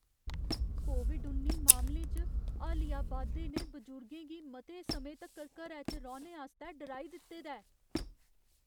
Covid उन्नी मामलें च हालिया बाद्धे ने बजुर्गें गी मते समें तक्कर घरै च रौह्ने आस्तै डराई दित्ते दा ऐ।